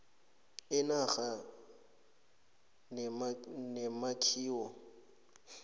inarha kanye nemakhiwo